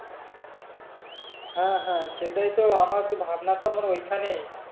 হ্যাঁ হ্যাঁ সেটাই তো আমার তো ভাবনা তো ওইখানেই